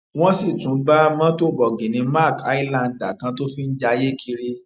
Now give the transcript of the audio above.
wọn sì tún bá mọtò bọgìnnì mark highlander kan tó fi ń jayé kiri